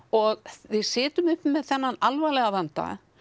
og við sitjum uppi með þennan alvarlega vanda